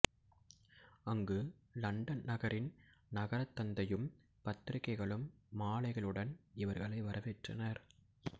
அங்கு இலண்டன் நகரின் நகரத் தந்தையும் பத்திரிகைகளும் மாலைகளுடன் இவர்களை வரவேற்றனர்